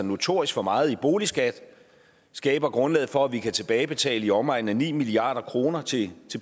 notorisk for meget i boligskat skaber grundlaget for at vi kan tilbagebetale i omegnen af ni milliard kroner til